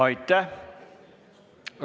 Aitäh!